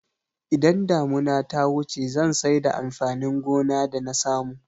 Idan damuna ta wuce zan saida amfanin gona da nasamu